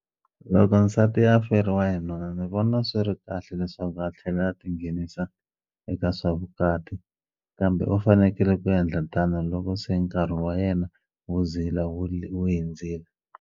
Loko nsati a feriwa hi nuna ni vona swi ri kahle leswaku a tlhela a tinghenisa eka swa vukati kambe u fanekele ku yendla tano loko se nkarhi wa yena wo zila wu hundzile.